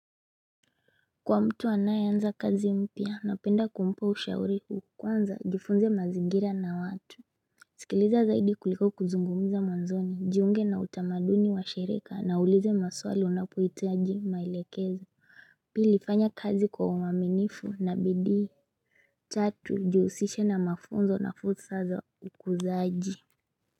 Kwa mtu anaye anza kazi mpya napenda kumpa ushauri huu kwanza jifunze mazigira na watu sikiliza zaidi kuliko kuzungumza mwanzoni jiunge na utamaduni wa shereka na ulize maswali unapoitaji mailekezo Pili fanya kazi kwa uaminifu na bidii tatu jihusishe na mafunzo na fursa za ukuzaji.